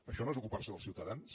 això no és ocupar se dels ciutadans